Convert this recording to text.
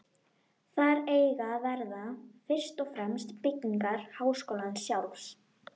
Þar eiga að verða, fyrst og fremst byggingar háskólans sjálfs.